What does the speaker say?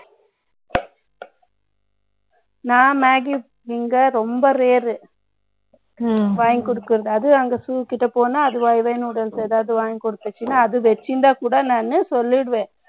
நான் magic நீங்க ரொம்ப rare. ம், வாங்கிக் கொடுக்கிறது. அதுவும், அங்கே shoe கிட்டப் போனா, அது ஏதாவது வாங்கிக் கொடுத்துச்சுன்னா, அது வச்சிருந்தா கூட, நானு சொல்லிடுவேன்